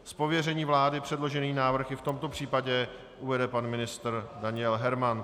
Z pověření vlády předložený návrh i v tomto případě uvede pan ministr Daniel Herman.